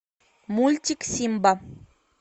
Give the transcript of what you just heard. мультик симба